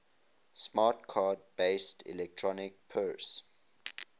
smart card based electronic purse